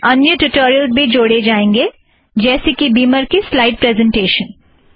भविष्य में अन्य ट्युटोरियलस भी जोड़े जाएँगें जैसे कि बीमर की स्लाइड़ प्रेज़ेंटेशन